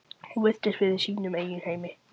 Hún virtist vera í sínum eigin heimi.